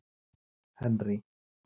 Henrý